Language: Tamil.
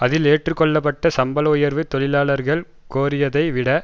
அதில் ஏற்று கொள்ள பட்ட சம்பள உயர்வு தொழிலாளர்கள் கோரியதை விட